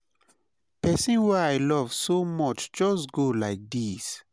pesin wey i love so much just go like this.